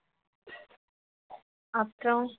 அப்புறம்